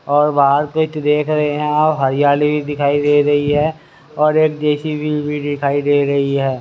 और बाहर देख रहे है और हरियाली भी दिखाई दे रही है और एक जे_सी_बी भी दिखाई दे रही है।